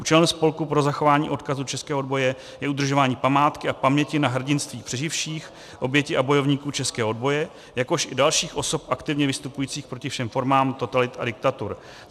Účelem Spolku pro zachování odkazu českého odboje je udržování památky a paměti na hrdinství přeživších, obětí a bojovníků českého odboje, jakož i dalších osob aktivně vystupujících proti všem formám totalit a diktatur.